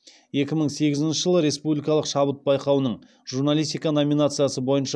екі мың сегізінші жылы республикалық шабыт байқауының журналистика номинациясы бойынша